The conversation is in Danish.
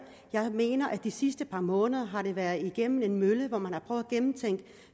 jeg mener at det de sidste par måneder har været igennem en mølle hvor man har prøvet at gennemtænke